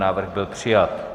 Návrh byl přijat.